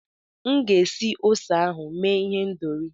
M ga-esi ose ahụ mee ihendọri.